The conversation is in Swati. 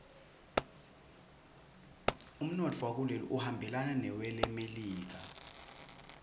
umnotfo wakuleli uhambelana newelemelika